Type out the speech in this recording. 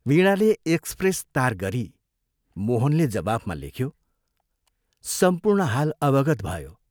वीणाले एक्सप्रेस तार गरी मोहनले जवाफमा लेख्यो, "सम्पूर्ण हाल अवगत भयो।